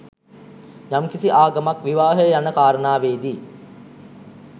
යම් කිසි ආගමක් විවාහය යන කාරණාවේදී